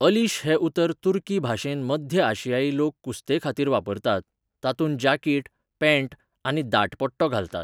अलीश हें उतर तुर्की भाशेंत मध्य आशियाई लोक कुस्तेखातीर वापरतात, तातूंत जाकीट, पॅण्ट आनी आनी दाट पट्टो घालतात.